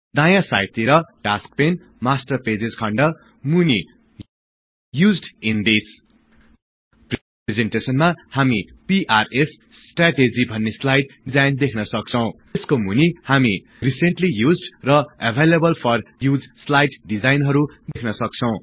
दायाँ साइद तिर task pane master pages खण्ड मुनि युज्ड ईन दिस् यसको मुनि हामी रिसेन्टली युज्ड र एभाईलेबल फर युज स्लाईड डिजाइनहरु देख्न सक्छौं